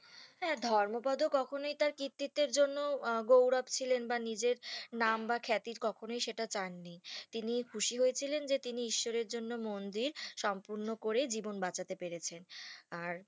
হ্যাঁ ধর্মপদ কখনো তার কৃতিত্বের জন্য আহ গৌরব ছিলেন বা নিজের নাম বা খ্যাতি কখনোই সেটা চাননি তিনি খুশি হয়েছিলেন যে তিনি যশোর এর জন্য মন্দির সম্পূর্ণ করে জীবন বাঁচাতে পেরেছেন আর